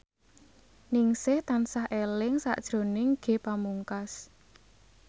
Ningsih tansah eling sakjroning Ge Pamungkas